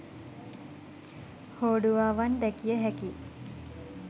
හෝඩුවාවන් දැකිය හැකියි